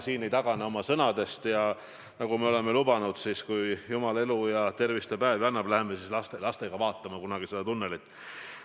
Te ei tagane oma sõnadest ja nagu me oleme lubanud, kui jumal tervist ja elupäevi annab, siis läheme kunagi lastelastega seda tunnelit vaatama.